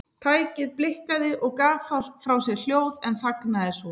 Tækið blikkaði og gaf frá sér hljóð en þagnaði svo.